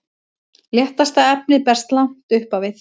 léttasta efnið berst langt upp á við